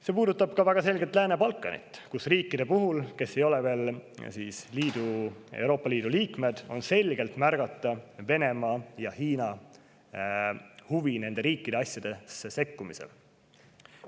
See puudutab väga selgelt ka Lääne-Balkanit, kus riikide puhul, kes ei ole veel Euroopa Liidu liikmed, on selgelt märgata Venemaa ja Hiina huvi nende riikide asjadesse sekkumise vastu.